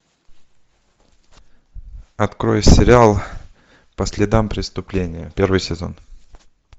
открой сериал по следам преступления первый сезон